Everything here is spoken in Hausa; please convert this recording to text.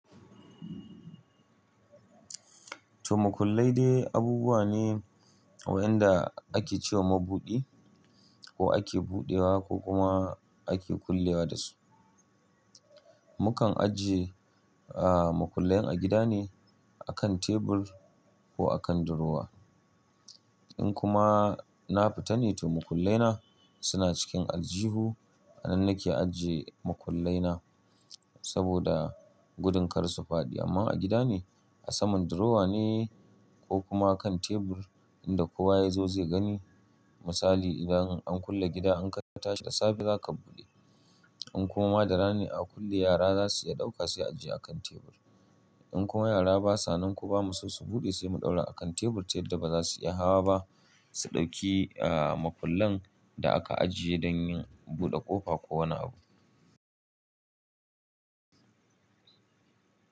To, makullai dai abubuwa ne waɗanda ake ce wa mabudi ko ake buɗewa ko kuma ake kullewa dasu. Mukan ajiye, ah, makullai a gida ne a kan tebul ko a kan durowa. In kuma na fita ne to makullai na suna cikin aljihu. A nan nake ajiye makullai na saboda gudun kar su faɗi. Amma a gida ne, a saman durowa ne ko kuma kan tebul inda kowa ya zo zai gani. Misali, idan an kulle gida an kai katashi da safe za ka buɗe. In kuma da rana ne aka kulle yara za su iya ɗauka sai a ajiye a kan tebul. In kuma yara basa nan ko ba mu so su buɗe sai mu ɗaura a kan tebul ta yadda ba za su iya hawa ba su ɗauki, ah, makullan da aka ajiye don yin buɗe ƙofa ko wani abu.